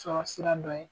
Sɔrɔ sira dɔ ye